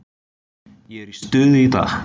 Ég er í stuði í dag.